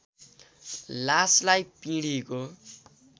लासलाई पिँढीको